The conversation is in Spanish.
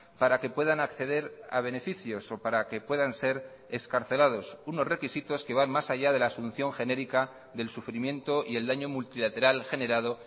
para que puedan acceder a beneficios o para que puedan ser excarcelados unos requisitos que van más allá de la asunción genérica del sufrimiento y el daño multilateral generado